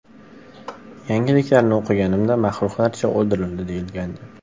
Yangiliklarni o‘qiganimda ‘maxluqlarcha o‘ldirildi‘, deyilgandi.